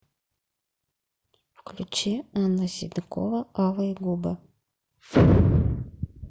включи анна седокова алые губы